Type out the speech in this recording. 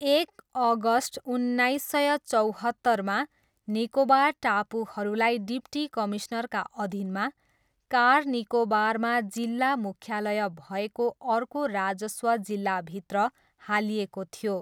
एक अगस्ट उन्नाइस सय चौहत्तरमा, निकोबार टापुहरूलाई डिप्टी कमिस्नरका अधीनमा, कार निकोबारमा जिल्ला मुख्यालय भएको अर्को राजस्व जिल्लाभित्र हालिएको थियो।